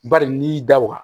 Bari n'i y'i da o kan